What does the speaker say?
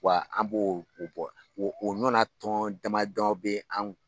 Wa an b'o bɔ o nɔna tɔn dama damaw bɛ ye.